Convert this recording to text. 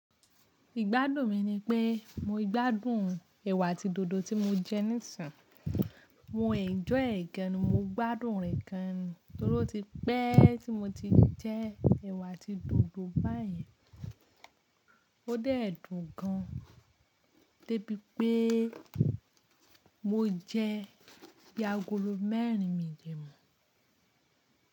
Igbádùn mi nipé mo gbádùn ẹ̀wà àti dòdò ti mo jẹ nísìnyí. Mo ènjọ́y ẹ̀ gan an, mo gbádùn rẹ̀ gan an torí tí pé tí mo ti jẹ ẹ̀wà àti dòdò báyìí, ó dé dùn gan, dé bii pé mo jẹ bí ágòlò mẹ́rin mí dẹ̀ mọ́.